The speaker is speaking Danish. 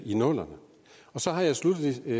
i nullerne sluttelig har